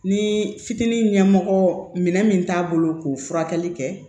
Ni fitiinin ɲɛmɔgɔ minɛ min t'a bolo k'o furakɛli kɛ